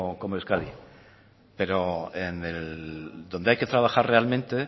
como euskadi pero dónde hay que trabajar realmente